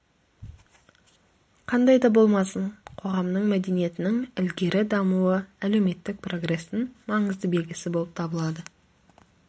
қандайда болмасын қоғамның мәдениетінің ілгері дамуы әлеуметтік прогрестің маңызды белгісі болып табылады